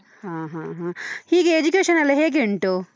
ಹ ಹ ಹ, ಹೀಗೆ education ಎಲ್ಲ ಹೇಗೆ ಉಂಟು?